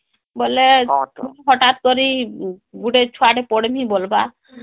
ବୋଲେ ହଟାତ କରି ଗୁଟେ ଛୁଆ ଟେପଡ଼ମୀ ବୋଲବା